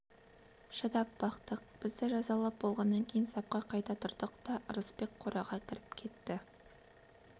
шыдап бақтық бізді жазалап болғаннан кейін сапқа қайта тұрдық та ырысбек қораға кіріп кетті